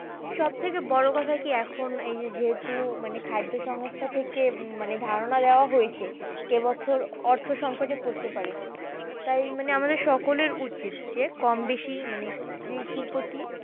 সবথেকে বড়ো কথা কি এখন এই যে যেহেতু মানে খাদ্য সংস্থা থেকে উহ মানে ধারণা দেওয়া হয়েছে, এ বছর অর্থ সংকটে পড়তে পারে তাই মানে আমাদের সকলের উচিত যে কমবেশি মানে কৃষির প্রতি